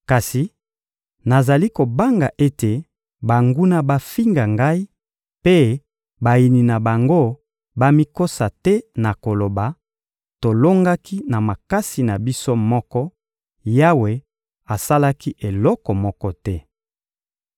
Kasi nazali kobanga ete banguna bafinga Ngai mpe bayini na bango bamikosa te na koloba: ‹Tolongaki na makasi na biso moko, Yawe asalaki eloko moko te.›»